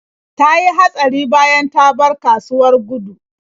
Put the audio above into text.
Ta yi hatsari bayan ta bar kasuwar Gudu.